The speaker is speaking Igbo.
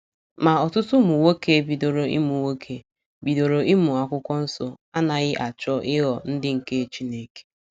Ma, ọtụtụ ụmụ nwoke bidoro ịmụ nwoke bidoro ịmụ akwụkwọ nso anaghị achọ ịghọ ndị nke Chineke.